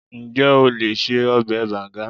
Ǹjẹ́ o lè ṣe ọbẹ̀ bànga?